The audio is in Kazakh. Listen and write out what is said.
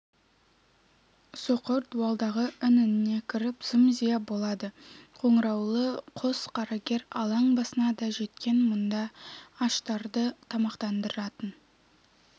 соқыр дуалдағы ін-ініне кіріп зым-зия болады қоңыраулы қос қарагер алаң басына да жеткен мұнда аштарды тамақтандыратын